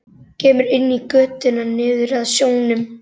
Kemur inn í götuna niður að sjónum.